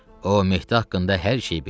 O Mehdi haqqında hər şeyi bilir.